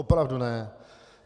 Opravdu ne.